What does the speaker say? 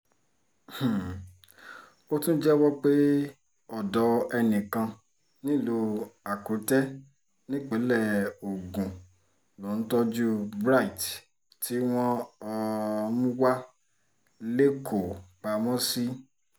um ó tún jẹ́wọ́ pé ọ̀dọ̀ enìkan nílùú akute nípínlẹ̀ ogun lòún tọ́jú bright tí wọ́n um ń wá lẹ́kọ̀ọ́ pamọ́ sí